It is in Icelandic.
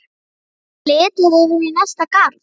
Verður litið yfir í næsta garð.